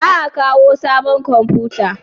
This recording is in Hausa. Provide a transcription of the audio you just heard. Za a kawo sabon komfuta?